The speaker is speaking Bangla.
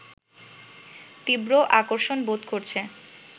তীব্র আকর্ষণ বোধ করছে